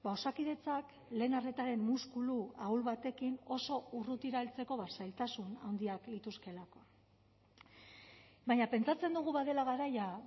osakidetzak lehen arretaren muskulu ahul batekin oso urrutira heltzeko zailtasun handiak lituzkeelako baina pentsatzen dugu badela garaia